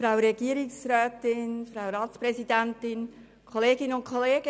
Ich begründe kurz, weshalb ich einige Punkte annehme.